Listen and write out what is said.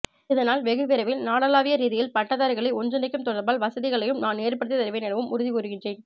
இதனால் வெகு விரைவில் நாடளாவிய ரீதியில் பட்டதாரிககளை ஒன்றிணைக்கும் தொடர்பாடல் வசதிகளையும் நான் ஏற்படுத்தித்தருவேன் எனவும் உறுதிகூறுகின்றேன்